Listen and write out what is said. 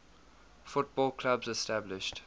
football clubs established